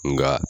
Nka